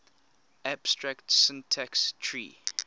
abstract syntax tree